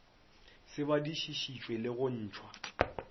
se badišišitšwe le go ntšhwa